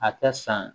A ka san